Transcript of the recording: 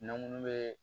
N'an munnu bɛ